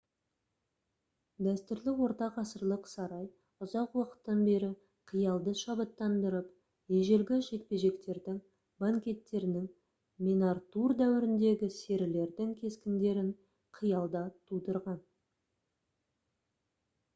дәстүрлі ортағасырлық сарай ұзақ уақыттан бері қиялды шабыттандырып ежелгі жекпе-жектердің банкеттерінің мен артур дәуіріндегі серілердің кескіндерін қиялда тудырған